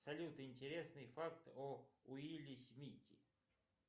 салют интересные факты о уилле смите